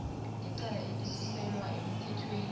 ngecala elisuselwa emthethweni